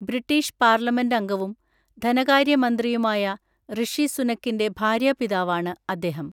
British parliament അംഗവും ധനകാര്യമന്ത്രിയുമായ ഋഷി സുനക്കിന്റെ ഭാര്യാപിതാവാണ് അദ്ദേഹം.